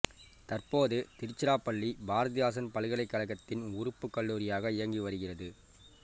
தற்போது திருச்சிராப்பள்ளி பாரதிதாசன் பல்கலைக்கழகத்தின் உறுப்புக் கல்லூரியாக இயங்கி வருகிறது